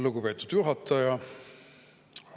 Lugupeetud juhataja!